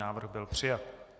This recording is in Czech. Návrh byl přijat.